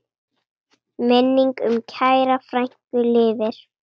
Minning um kæra frænku lifir.